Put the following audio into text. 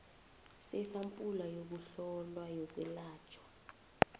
sesampula yokuhlolwa yokwelatjhwa